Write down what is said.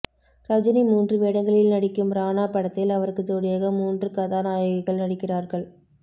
ரஜினி மூன்று வேடங்களில் நடிக்கும் ராணா படத்தில் அவருக்கு ஜோடியாக மூன்று கதாநாயகிகள் நடிக்கிறார்கள்